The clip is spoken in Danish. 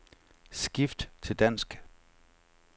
Skift til dansk.